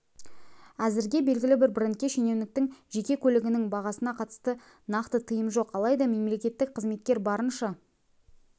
әзірге белгілі бір брендке шенеуніктің жеке көлігінің бағасына қатысты нақты тыйым жоқ алайда мемлекеттік қызметкер барынша